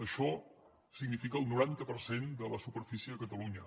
això significa el noranta per cent de la superfície a catalunya